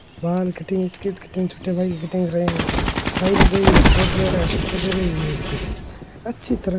बाल cutting tie लगी हुई है कोट पहना है स्वेटर पहना हुई है इसकी अच्छी तरह --